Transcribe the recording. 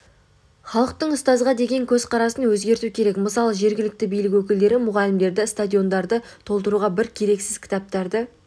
халықтың ұстазға деген көзқарасын өзгерту керек мысалы жергілікті билік өкілдері мұғалімдерді стадиондарды толтыруға бір керексіз кітаптарды